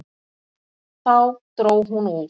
Þá dró hún úr.